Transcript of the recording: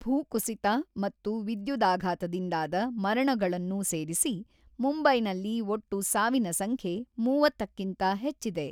ಭೂಕುಸಿತ ಮತ್ತು ವಿದ್ಯುದಾಘಾತದಿಂದಾದ ಮರಣಗಳನ್ನೂ ಸೇರಿಸಿ ಮುಂಬೈನಲ್ಲಿ ಒಟ್ಟು ಸಾವಿನ ಸಂಖ್ಯೆ ಮೂವತ್ತಕ್ಕಿಂತ ಹೆಚ್ಚಿದೆ.